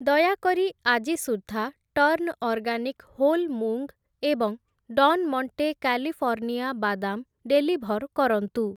ଦୟାକରି ଆଜି ସୁଦ୍ଧା ଟର୍ନ୍‌ ଅର୍ଗାନିକ୍‌ ହୋଲ୍ ମୁଂଗ୍ ଏବଂ ଡନ୍‌ ମଣ୍ଟେ କାଲିଫର୍ଣ୍ଣିଆ ବାଦାମ୍ ଡେଲିଭର୍ କରନ୍ତୁ ।